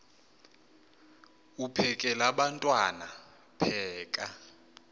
uphekel abantwana pheka